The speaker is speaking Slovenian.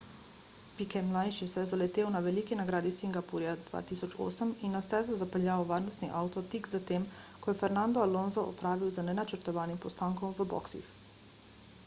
piquet mlajši se je zaletel na veliki nagradi singapurja 2008 in na stezo zapeljal varnostni avto tik zatem ko je fernando alonso opravil z nenačrtovanim postankom v boksih